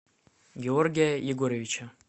георгия егоровича